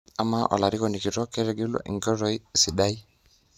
Ama olarikoni kitok ketegelwa enkoitoi sidai?